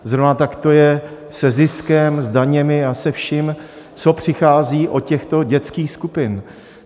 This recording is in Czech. Zrovna tak to je se ziskem, s daněmi a se vším, co přichází od těchto dětských skupin.